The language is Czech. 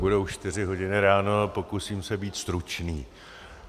Budou čtyři hodiny ráno a pokusím se být stručný.